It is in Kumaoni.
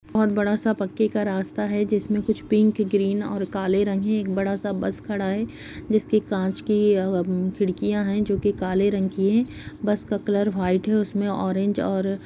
बहोत बड़ा सा पक्के का रास्ता है जिसमें कुछ पिंक ग्रीन और काले रंग है एक बड़ा सा बस खड़ा है जिसके कांच की उम् खिड़कियां है जो कि काले रंग की हैं बस का कलर व्हाइट है और उसमे ऑरेंज और--